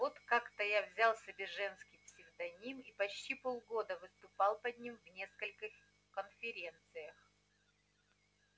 вот как-то я взял себе женский псевдоним и почти полгода выступал под ним в нескольких конференциях